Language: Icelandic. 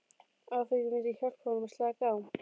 Áfengið myndi hjálpa honum að slaka á.